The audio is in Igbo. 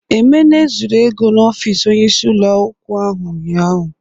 Emene zuru ego n'ọfis Onye isi ụlọ akwụkwọ ahụ ụnyaahụ.